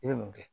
I bɛ mun kɛ